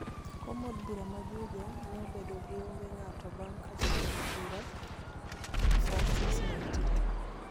Kom od bura ma Juja ne obedo ni onge ng'ato bang' ka jatelo bura Francis Waititu